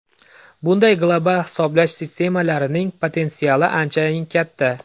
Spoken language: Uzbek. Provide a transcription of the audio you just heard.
Bunday global hisoblash sistemalarining potensiali anchayin katta.